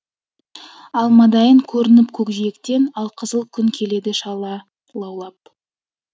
алмадайын көрініп көкжиектен алқызыл күн келеді шала лаулап